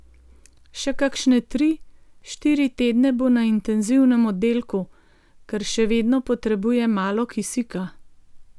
Še kakšne tri, štiri tedne bo na intenzivnem oddelku, ker še vedno potrebuje malo kisika.